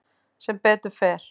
Sem betur fer